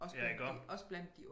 Ja iggå